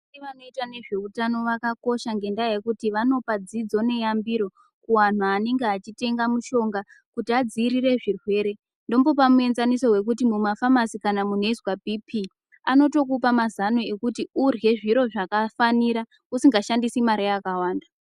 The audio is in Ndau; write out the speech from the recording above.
Vanoita ngezveutano vakakosha ngendaa yekuti vanopa dzidzo neyambiro kuanhu anenge achitenga mushonga kuti adziirire zvirwere ndombopa muenzaniso wekuti muma famasi kana kunhu eyizwa bhipi anotokupa mazano ekuti urye zviro zvakafanira usingashandisi mari yakawanda.